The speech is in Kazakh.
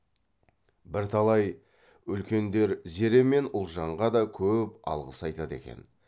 бірталай үлкендер зере мен ұлжанға да көп алғыс айтады екен